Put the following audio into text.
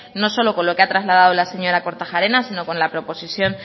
no solo con lo que ha trasladado la señora kortajarena sino con la proposición